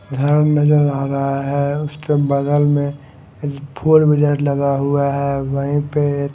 घर नजर आ रहा है उसके बगल में फोर व्हीलर लगा हुआ है वहीं पे--